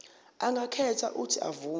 angakhetha uuthi avume